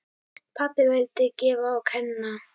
Pabbi vildi gefa og kenna.